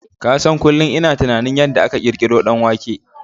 Ka san kunlun ina tunanin yanda aka ƙirƙiron danwanke